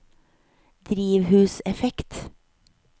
drivhuseffekt